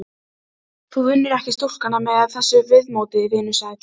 spurði drengurinn án þess að taka undir kveðju Aðalsteins.